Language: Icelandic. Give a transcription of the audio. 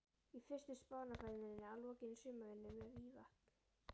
Í fyrstu Spánarferðinni að lokinni sumarvinnu við Mývatn.